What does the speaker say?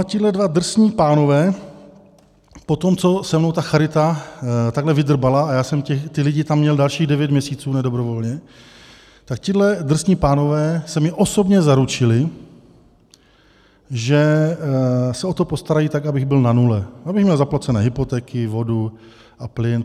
A tihle dva drsní pánové po tom, co se mnou ta charita takhle vydrbala, a já jsem ty lidi tam měl dalších devět měsíců nedobrovolně, tak tihle drsní pánové se mi osobně zaručili, že se o to postarají tak, abych byl na nule, abych měl zaplacené hypotéky, vodu a plyn.